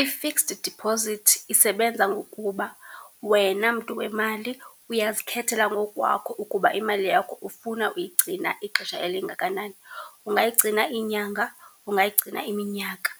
I-fixed deposit isebenza ngokuba wena mntu wemali uyazikhethela ngokukwakho ukuba imali yakho ufuna uyigcina ixesha elingakanani, ungayigcina inyanga, ungayigcina iminyaka.